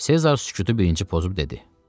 Sezar sükutu birinci pozub dedi: